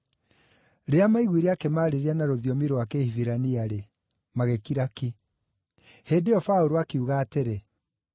Rĩrĩa maaiguire akĩmaarĩria na rũthiomi rwa Kĩhibirania-rĩ, magĩkira ki. Hĩndĩ ĩyo Paũlũ akiuga atĩrĩ,